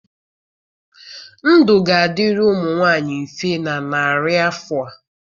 Ndụ ga-adịrị ụmụ nwanyị mfe na narị afọ a